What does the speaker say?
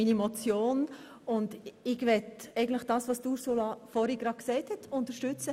Ich möchte das, was Frau Grossrätin Marti vorhin gesagt hat, unterstützen: